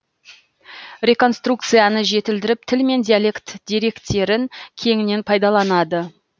реконструкцияны жетілдіріп тіл мен диалект деректерін кеңінен пайдаланды